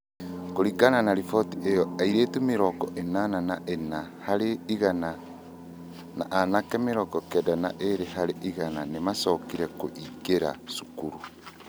Kũringana na riboti ĩyo, airĩtu mĩrongo ĩnana na ĩna harĩ igana na anake mĩrongo kenda na ĩrĩ harĩ igana nĩ maacokire kũingĩra cukuru.